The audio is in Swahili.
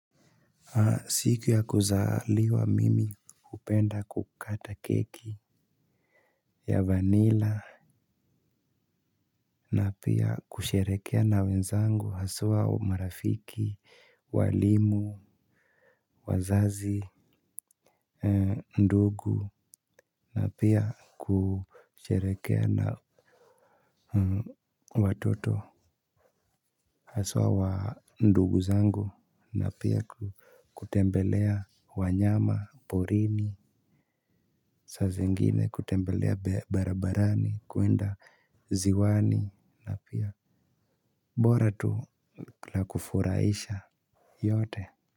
Siku ya kuzaliwa mimi hupenda kukata keki. Ya vanilla na pia kusherehekea na wenzangu haswa umarafiki walimu wazazi ndugu na pia kusherehekea na watoto aswa wa ndugu zangu na pia kutembelea wanyama porini. Saa zingine kutembelea barabarani kuenda ziwani na pia bora tu la kufuraisha yote. Kwa hivyo.